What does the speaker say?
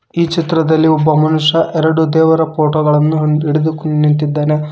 ಈ ಚಿತ್ರದಲ್ಲಿ ಒಬ್ಬ ಮನುಷ್ಯ ಎರಡು ದೇವರ ಫೋಟೋ ಗಳನ್ನು ಹೊಂದ್- ಹಿಡಿದುಕೊಂಡ್ ನಿಂತಿದ್ದಾನೆ.